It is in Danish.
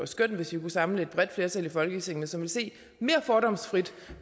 skønt hvis vi kunne samle et bredt flertal i folketinget som ville se mere fordomsfrit